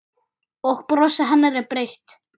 Og brosið hennar er breitt.